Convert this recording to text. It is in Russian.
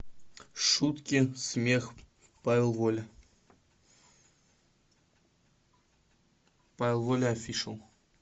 шутки смех павел воля павел воля офишл